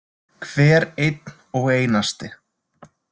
Hver einn og einasti.